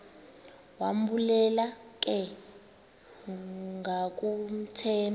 wambulela ke ngakumthemba